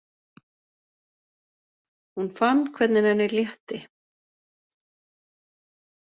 Hún fann hvernig henni létti.